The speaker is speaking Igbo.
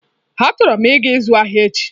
Achoro m ịga ịzụ ahịa echi.